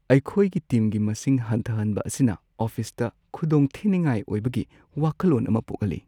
ꯑꯩꯈꯣꯏꯒꯤ ꯇꯤꯝꯒꯤ ꯃꯁꯤꯡ ꯍꯟꯊꯍꯟꯕ ꯑꯁꯤꯅ ꯑꯣꯐꯤꯁꯇ ꯈꯨꯗꯣꯡꯊꯤꯅꯤꯡꯉꯥꯏ ꯑꯣꯏꯕꯒꯤ ꯋꯥꯈꯜꯂꯣꯟ ꯑꯃ ꯄꯣꯛꯍꯜꯂꯤ꯫